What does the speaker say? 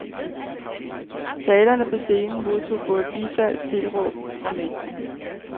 Talerne på scenen modtog både bifald og tilråb fra mængden.